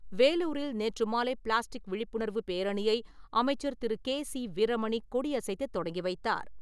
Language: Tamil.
வேலூரில் நேற்று மாலை பிளாஸ்டிக் விழிப்புணர்வு பேரணியை அமைச்சர் திரு. கே. சி. வீரமணி கொடியசைத்து தொடங்கி வைத்தார்.